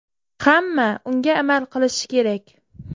Hamma unga amal qilishi kerak.